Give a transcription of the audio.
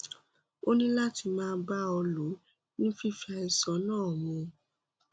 ó ní láti máa bá a lọ ní fífi àìsàn náà mu